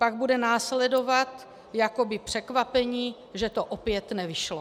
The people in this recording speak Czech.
Pak bude následovat jakoby překvapení, že to opět nevyšlo.